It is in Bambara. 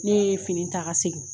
Ne yee fini taa ka segin.